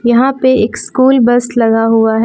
यहां पे एक स्कूल बस लगा हुआ है।